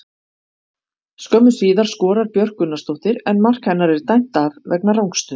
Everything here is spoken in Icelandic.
Skömmu síðar skorar Björk Gunnarsdóttir en mark hennar er dæmt af vegna rangstöðu.